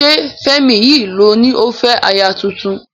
Ṣé Fẹ́mi yìí ló ní ó fẹ́ aya tuntun?